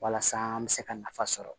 Walasa an bɛ se ka nafa sɔrɔ